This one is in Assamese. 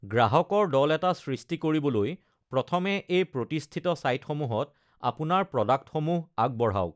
গ্ৰাহকৰ দল এটা সৃষ্টি কৰিবলৈ প্ৰথমে এই প্ৰতিষ্ঠিত ছাইটসমূহত আপোনাৰ প্ৰ'ডাক্টসমূহ আগবঢ়াওক।